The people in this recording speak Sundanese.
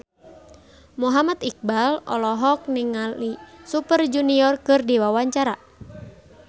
Muhammad Iqbal olohok ningali Super Junior keur diwawancara